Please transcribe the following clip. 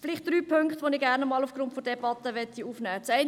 Vielleicht drei Punkte, die ich aufgrund der Debatte aufnehmen möchte.